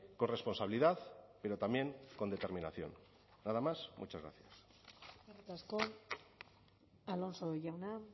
con responsabilidad pero también con determinación nada más muchas gracias eskerrik asko alonso jauna